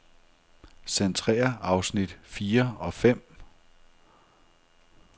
Centrér afsnit fire og fem.